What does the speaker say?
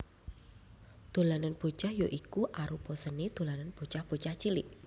Dolanan Bocah ya iku arupa seni dolanan bocah bocah cilik